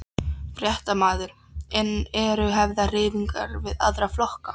Fréttamaður: En eru hafnar þreifingar við aðra flokka?